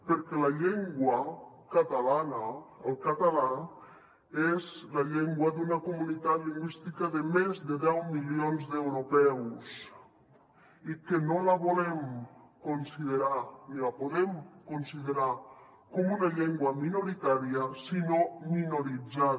perquè la llengua catalana el català és la llengua d’una comunitat lingüística de més de deu milions d’europeus i que no la volem considerar ni la podem considerar com una llengua minoritària sinó minoritzada